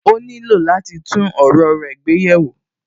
Ó nílò láti tún ọ̀rọ̀ rẹ gbé yẹ̀ wò